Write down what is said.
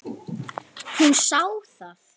Hún sá það.